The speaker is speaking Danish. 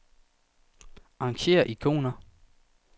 Arrangér ikoner.